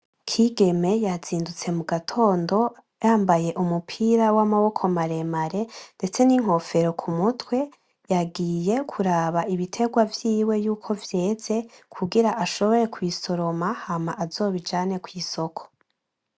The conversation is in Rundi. Kigeme yazindutse mu gatondo yambaye umupira w'amaboko maremare ndetse n'inkofero ku mutwe, yagiye kuraba ibitegwa vyiwe yuko vyeze kugira ashobore kubisoroma hama azobijane kw'isoko.